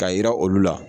Ka yira olu la